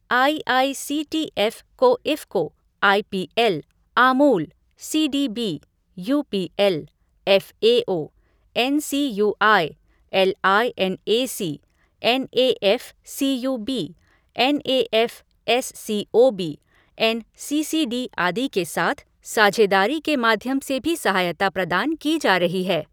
I I C T F को IFFCO, I P L, Amul, C D B, U P L, F A O, N C U I, L I N A C, N A F C U B, N A F S C O B, N C C D, आदि के साथ साझेदारी के माध्यम से भी सहायता प्रदान की जा रही है।